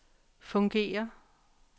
fungerer